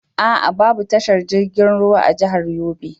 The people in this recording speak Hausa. A'a babu tashar jirgin ruwan a jahar Yobe.